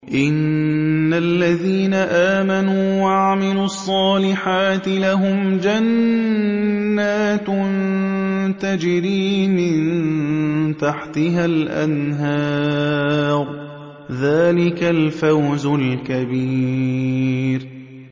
إِنَّ الَّذِينَ آمَنُوا وَعَمِلُوا الصَّالِحَاتِ لَهُمْ جَنَّاتٌ تَجْرِي مِن تَحْتِهَا الْأَنْهَارُ ۚ ذَٰلِكَ الْفَوْزُ الْكَبِيرُ